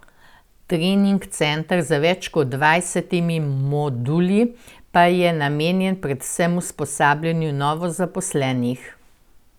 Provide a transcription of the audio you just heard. Trening center z več kot dvajsetimi moduli pa je namenjen predvsem usposabljanju novozaposlenih.